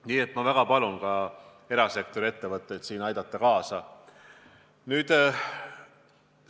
Nii et ma väga palun erasektori ettevõtteid siin kaasa aidata!